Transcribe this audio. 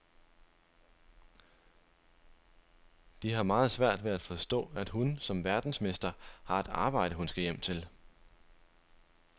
De har meget svært ved at forstå, at hun som verdensmester har et arbejde, hun skal hjem til.